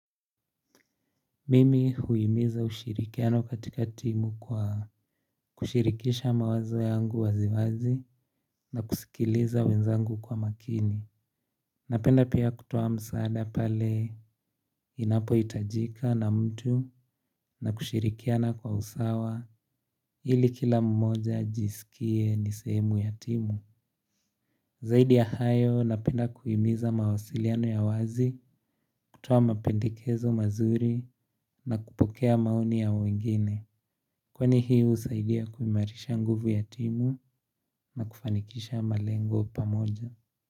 Mimi huhimiza ushirikiano katika timu kwa kushirikisha mawazo yangu waziwazi na kusikiliza wenzangu kwa makini. Napenda pia kutoa msaada pale inapo hitajika na mtu na kushirikiana kwa usawa ili kila mmoja ajisikie nisehemu ya timu. Zaidi ya hayo napenda kuhimiza mawasiliano ya wazi kutoa mapendekezo mazuri na kupokea maoni ya wengine. Kwani hii husaidia kuimarisha nguvu ya timu na kufanikisha malengo pamoja.